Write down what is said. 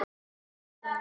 Dans Salóme.